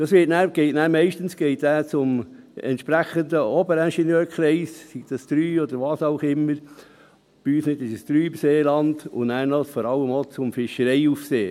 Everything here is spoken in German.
Dann geht dies meistens zum entsprechenden Oberingenieurkreis (OIK), bei uns im Seeland ist es der Kreis III, und dann vor allem auch zum Fischereiaufseher.